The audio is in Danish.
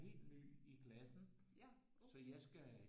Er helt ny i klassen så jeg skal